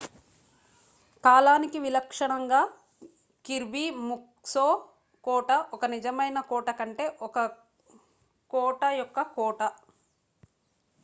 కాలానికి విలక్షణంగా కిర్బీ ముక్స్లో కోట ఒక నిజమైన కోట కంటే ఒక కోట యొక్క కోట